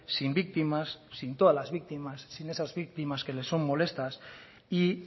sin víctimas sin todas las víctimas sin esas víctimas que le son molestas y